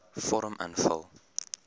vorm invul